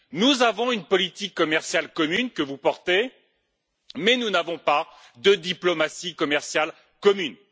Nous avons une politique commerciale commune, que vous portez, mais nous n'avons pas de diplomatie commerciale commune.